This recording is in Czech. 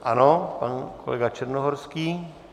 Ano, pan kolega Černohorský.